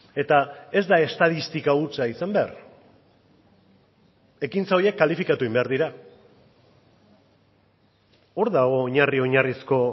eta ez da estatistika hutsa izan behar ekintza horiek kalifikatu egin behar dira hor dago oinarri oinarrizko